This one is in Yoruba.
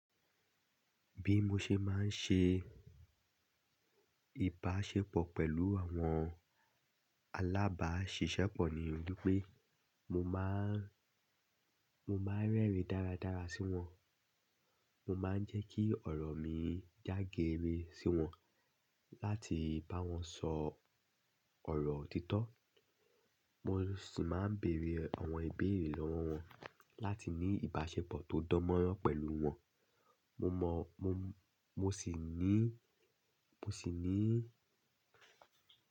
Bí mo ṣe máa ń ṣe ìbáṣepọ̀ pẹ̀lú àwọn alábáṣiṣẹ́pọ̀ ni wípé mo máa ń, mo máa ń rẹ́rìn-ín dáradára sí wọn, mo máa ń jẹ́ kí ọ̀rọ̀ mi já geere sí wọn láti bá wọn sọ ọ̀rọ̀ òtítọ́. Mo sì máa ń bèrè àwọn ìbéèrè lọ́wọ́ wọn láti ní ìbáṣepọ̀ tó dánmọ́nrán pẹ̀lú wọn. Mo mọ̀, mo, mo sì ní, mo sì ní.